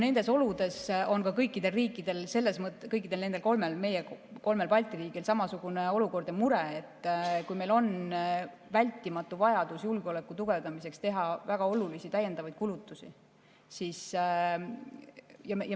Nendes oludes on kõigil kolmel Balti riigil samasugune olukord ja mure: meil on vältimatu vajadus julgeoleku tugevdamiseks teha väga olulisi täiendavaid kulutusi.